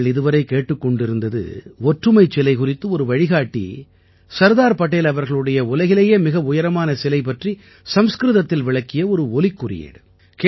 நீங்கள் இதுவரை கேட்டுக் கொண்டிருந்தது ஒற்றுமைச் சிலை குறித்து ஒரு வழிகாட்டி சர்தார் படேல் அவர்களுடைய உலகிலேயே மிக உயரமான சிலை பற்றி சம்ஸ்கிருதத்தில் விளக்கிய ஒரு ஒலிக்குறியீடு